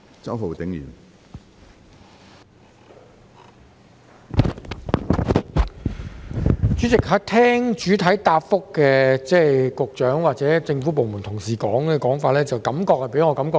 主席，聽罷主體答覆及局長與政府部門同事的說法，給我一種感覺是在互相推搪。